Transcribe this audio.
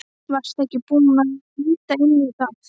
Varstu búinn að líta inn í það?